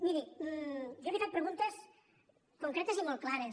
miri jo li he fet preguntes concretes i molt clares